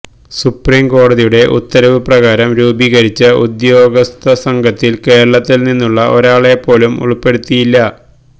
സുപ്രിംകോടതിയുടെ ഉത്തരവു പ്രകാരം രൂപീകരിച്ച ഉദ്യോഗസ്ഥ സംഘത്തില് കേരളത്തില്നിന്നുള്ള ഒരാളെപ്പോലും ഉള്പ്പെടുത്തിയില്ല